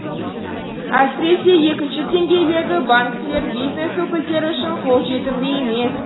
әсіресе екінші деңгей легі банктер бизнес өкілдері үшін қолжетімді емес